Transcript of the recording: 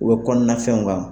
U bɛ kɔnɔna fɛnw